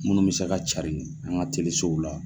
Minnu bɛ se ka carin an ka telesow la.